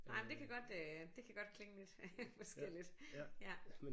Nej det kan godt øh det kan godt klinge lidt forskelligt ja